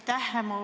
Aitäh!